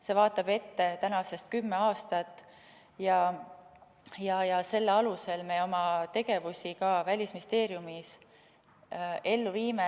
See vaatab ette tänasest kümme aastat ja selle alusel me oma tegevusi Välisministeeriumis ellu viime.